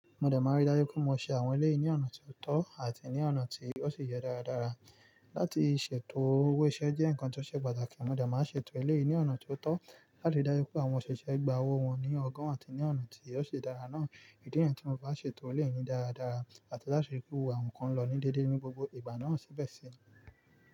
Mo dẹ̀ máa rí dájú pé mo ṣe àwọn eleyìí ní ọ̀nà tó tọ́ àti ní ọ̀nà tí ó sì yẹ darádará. Láti ṣètò owó iṣẹ́ jẹ́ nǹkan tó ṣe pàtàkì, mo dẹ̀ máa ṣètò eleyìí ní ọ̀nà tó tọ́ láti ri dájú pé àwọn òṣìṣẹ́ gba owó wọn ní ọgon àti ní ọ̀nà tí yóò ṣe dára náà. Ìdí niyii tí mo fi maa n ṣètò eleyìí ni dáradára àti láti rí pé gbogbo awon nkan lọ ní dédé ní gbogbo ìgbà náà síbẹ̀ sì ni.